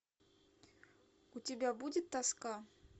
у тебя будет тоска